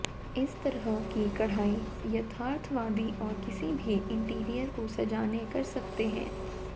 इस तरह की कढ़ाई यथार्थवादी और किसी भी इंटीरियर को सजाने कर सकते हैं